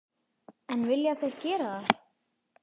En vilja þeir gera það?